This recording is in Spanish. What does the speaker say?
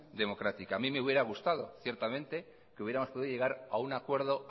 democrática a mí me hubiera gustado ciertamente que hubiéramos podido llegar a un acuerdo